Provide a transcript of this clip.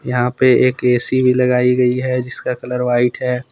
यहां पे एक ए_सी भी लगाई गई है जिसका कलर व्हाइट है।